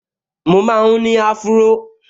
Mo máa n ní áfúró